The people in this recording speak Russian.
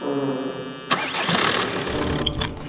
основное